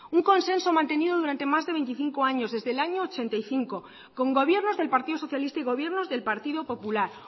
un consenso mantenido durante más de veinticinco años desde el año mil novecientos ochenta y cinco con gobiernos del partido socialista y gobiernos del partido popular